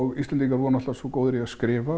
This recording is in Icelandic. Íslendingar voru náttúrulega svo góðir í að skrifa